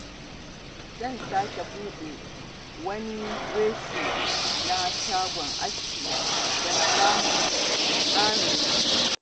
Zan sake buɗe wani reshen na shagon askina don samun ƙarin riba